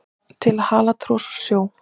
til að hala tros úr sjó